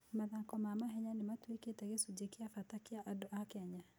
Mathako ma mahenya nĩ matuĩkĩte gĩcunjĩ kĩa bata kĩa andũ a Kenya.